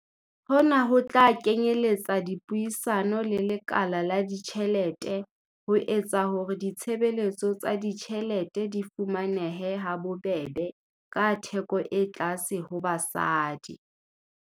Hona ho tla kenyeletsa dipuisano le lekala la ditjhelete ho etsa hore ditshebeletso tsa ditjhelete di fumanehe ha bobebe ka theko e tlase ho basadi.